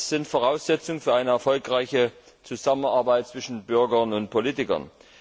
Beides sind Voraussetzungen für eine erfolgreiche Zusammenarbeit zwischen Bürgern und Politikern.